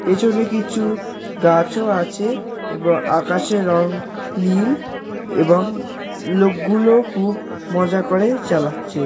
পেছনে কিছু গাছও আছে এবং আকাশের রং নীল এবং লোকগুলো খুব মজা করে চালাচ্ছে।